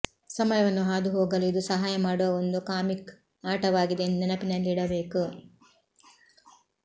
ಸಮಯವನ್ನು ಹಾದುಹೋಗಲು ಇದು ಸಹಾಯ ಮಾಡುವ ಒಂದು ಕಾಮಿಕ್ ಆಟವಾಗಿದೆ ಎಂದು ನೆನಪಿನಲ್ಲಿಡಬೇಕು